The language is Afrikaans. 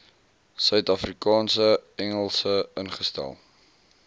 suidafrikaanse engels ingestel